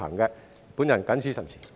我謹此陳辭。